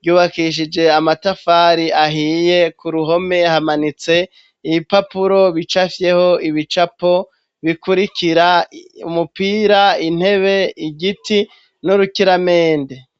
ryubakishije amatafari ahiye ku ruhome hamanitse ibipapuro bicapfyeho ibicapo bikurikira, umupira ,intebe ,igiti n'urukiramende